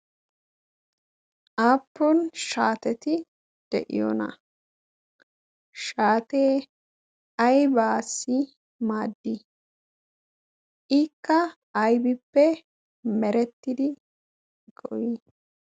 aappun shaateti de'yoona? shaatee aibaasi maaddi ikka aybippe merettidi goyii?